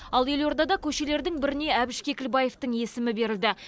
ал елордада көшелердің біріне әбіш кекілбаевтың есімі берілді